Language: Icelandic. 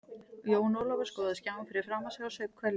Jón Ólafur skoðaði skjáinn fyrir framan sig og saup hveljur.